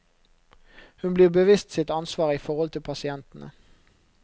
Hun blir bevisst sitt ansvar i forhold til pasientene.